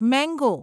mango